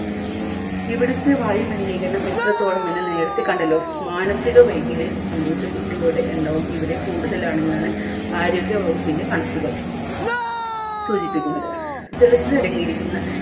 ഇവിടുത്തെ വായു മലിനീകരണം എത്രത്തോളം എന്ന് നേരത്തെ കണ്ടല്ലോ മനസിക വൈകല്യം സംഭവിച്ച കുട്ടികളുടെ എണ്ണവും ഇവിടെ കൂടുതലാണെന്നാണ് ആരോഗ്യ വകുപ്പിൻറെ കണക്കുകൾ സൂചിപ്പിക്കുന്നത് ജലത്തിലടങ്ങിയിരിക്കുന്ന